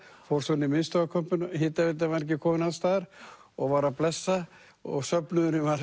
fór svo inn í miðstöðvarkompuna hitaveitan var ekki komin alls staðar og var að blessa og söfnuðurinn var